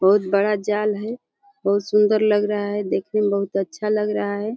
बहुत बड़ा जाल है। बहुत सुंदर लग रहा है देखने में। बहुत अच्छा लग रहा है।